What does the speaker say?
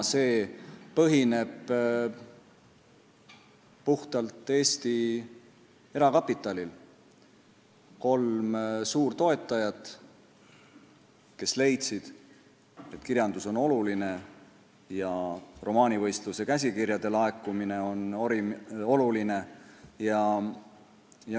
See põhineb puhtalt Eesti erakapitalil – kolm suurtoetajat leidsid, et kirjandus on oluline ja romaanivõistluse käsikirjade laekumine on oluline.